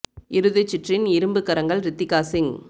இறுதிச் சுற்றின் இரும்புக் கரங்கள் ரித்திகா சிங்